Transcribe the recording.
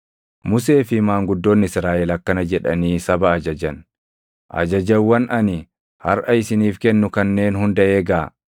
Musee fi maanguddoonni Israaʼel akkana jedhanii saba ajajan; “Ajajawwan ani harʼa isiniif kennu kanneen hunda eegaa.